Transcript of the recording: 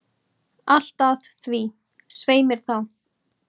Allt að því, svei mér þá!